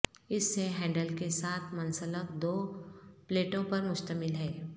اس سے ہینڈل کے ساتھ منسلک دو پلیٹوں پر مشتمل ہے